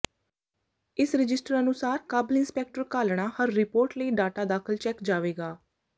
ਇਸ ਰਜਿਸਟਰ ਅਨੁਸਾਰ ਕਾਬਲ ਇੰਸਪੈਕਟਰ ਘਾਲਣਾ ਹਰ ਰਿਪੋਰਟ ਲਈ ਡਾਟਾ ਦਾਖਲ ਚੈੱਕ ਜਾਵੇਗਾ